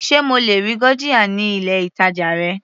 Sé mo lè rí gurjiya ní ilé ìtàjà rẹ.